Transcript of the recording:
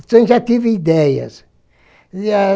Então eu já tive ideias. E a